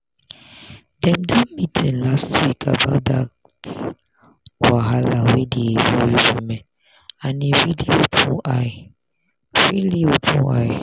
dem do meeting last week about that wahala wey dey worry women and e really open eye. really open eye.